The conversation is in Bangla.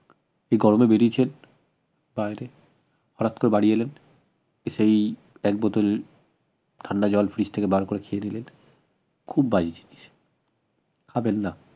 এ গরমে বেড়িয়েছেন বাইরে হঠাৎ করে বাড়ি এলেন এসেই এক বোতল ঠান্ডা জল freedge থেকে বার করে খেয়ে নিলেন খুব বাজে জিনিস খাবেন না